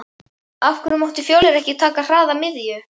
Af hverju mátti Fjölnir ekki taka hraða miðju?